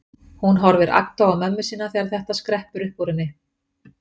Hún horfir agndofa á mömmu sína þegar þetta skreppur upp úr henni.